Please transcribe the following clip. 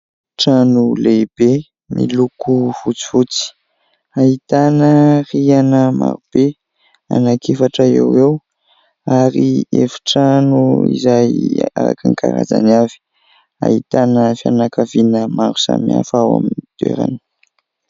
Trano lehibe miloko fotsifotsy, ahitana rihana marobe, anaky efatra eo eo, ary efitrano izay araka ny karazany avy. Ahitana fianakaviana maro samihafa ao amin'ny toerana.